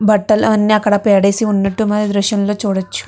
బట్టలన్నీ అక్కడ పాడేసి ఉన్నట్టు మనమీ చిత్రంలో చూడొచ్చు.